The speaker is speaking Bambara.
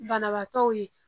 Banabaatɔw ye